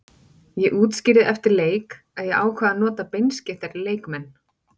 Ég útskýrði eftir leik að ég ákvað að nota beinskeyttari leikmenn.